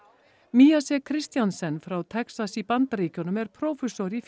miyase Christensen frá Texas í Bandaríkjunum er prófessor í